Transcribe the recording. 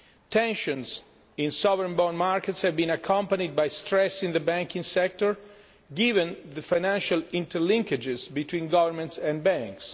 Tensions in sovereign bond markets have been accompanied by stress in the banking sector given the financial interlinkages between governments and banks.